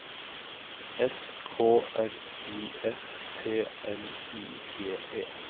S K R I F T L I G E